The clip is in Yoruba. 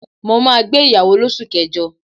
Mo máa gbé ìyàwó l'osu kẹjọ.